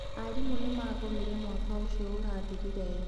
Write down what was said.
Aarimũ nĩ magomire mwaka ũcio ũrathirire.